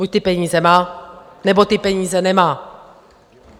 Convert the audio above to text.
Buď ty peníze má, nebo ty peníze nemá!